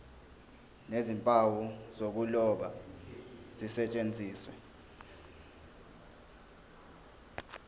nezimpawu zokuloba zisetshenziswe